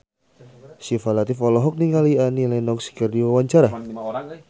Syifa Latief olohok ningali Annie Lenox keur diwawancara